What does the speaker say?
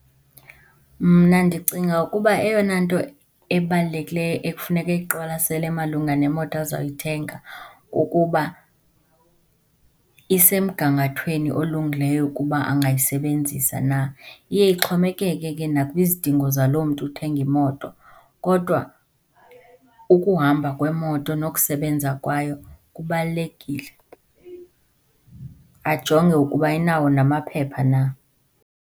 Mna ndicinga ukuba eyona nto ebalulekileyo ekufuneka eyiqwalasele malunga nemoto azayithenga kukuba isemgangathweni olungileyo ukuba angayisebenzisa na. Iye ixhomekeke ke nakwizidingo zaloo mntu uthenga imoto, kodwa ukuhamba kwemoto nokusebenza kwayo kubalulekile, ajonge ukuba inawo namaphepha na.